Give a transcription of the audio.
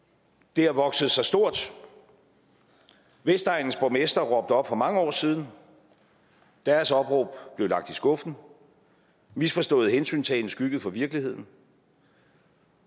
det har vokset sig stort vestegnens borgmestre råbte op for mange år siden deres opråb blev lagt i skuffen misforstået hensyntagen skyggede for virkeligheden